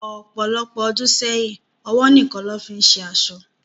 Ọpọlọpọ̀ ọdún sẹyìn, ọwọ níkan ni wọn fìí ń ṣe aṣọ